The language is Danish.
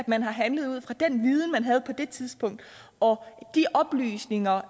man har handlet ud fra den viden man havde på det tidspunkt og de oplysninger